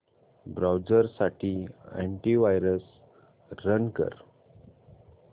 browser साठी anti virus run कर